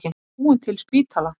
Við búum til spítala!